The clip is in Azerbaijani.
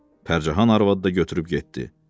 Pərçəhan arvadı da götürüb getdi.